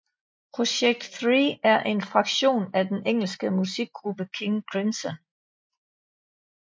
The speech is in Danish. ProjeKct Three er en fraktion af den engelske musikgruppe King Crimson